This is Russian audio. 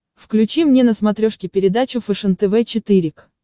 включи мне на смотрешке передачу фэшен тв четыре к